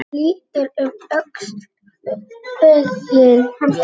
Hann lítur um öxl, feginn.